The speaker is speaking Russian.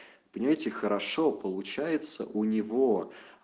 понимаете хорошо получается у него